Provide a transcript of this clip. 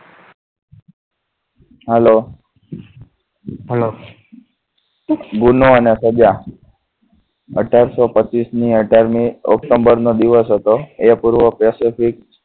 Hello hello ગુનો અને સજા અઢારસો પચીશ ની અઢાર મી ઓક્ટોબર નો દિવસ હતો એ પૂર્વક specific